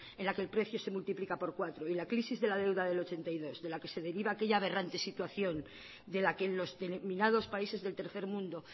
en la que el precio se multiplica por cuatro y la crisis de la deuda de mil novecientos ochenta y dos de la que se deriva aquella aberrante situación de la que en los denominados países del tercer mundo